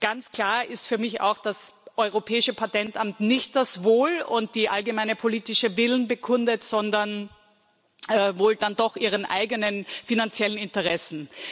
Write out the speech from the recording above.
Ganz klar ist für mich auch, dass das Europäische Patentamt nicht das Wohl und den allgemeinen politischen Willen bekundet, sondern wohl dann doch seine eigenen finanziellen Interessen.